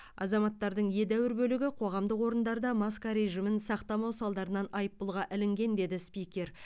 азаматтардың едәуір бөлігі қоғамдық орындарда маска режимін сақтамау салдарынан айыппұлға ілінген деді спикер